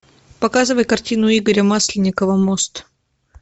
показывай картину игоря масленникова мост